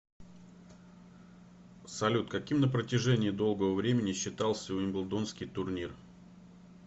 салют каким на протяжении долгого времени считался уимблдонский турнир